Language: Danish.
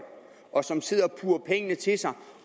og som sidder og puger penge til sig